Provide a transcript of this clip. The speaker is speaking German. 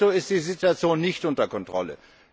De facto ist die Situation nicht unter Kontrolle.